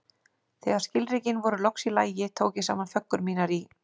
Þegar skilríkin voru loks í lagi, tók ég saman föggur mínar í